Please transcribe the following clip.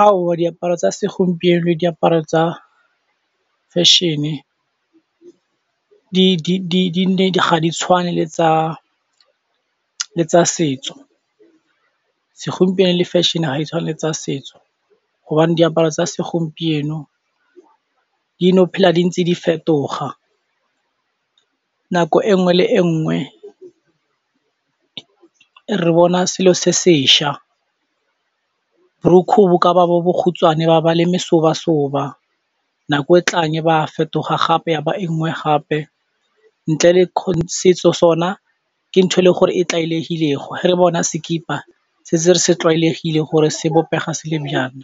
Aowa diaparo tsa segompieno, diaparo tsa fashion ga di tshwane le tsa setso, segompieno le fashion ga e tshwane le tsa setso hobane diaparo tsa segompieno dino phela di ntse di fetoga nako e nngwe le e nngwe re bona selo se se šwa, borukhu bo ka ba bo bokhutswane ba ba le meseboba-soba nako e tlang ba fetoga gape ya ba engwe gape ntle le setso sona ke ntho e leng gore e tlwaelegilego, ge re bona sekipa se re se tlwaelegile gore sebopega se le byang,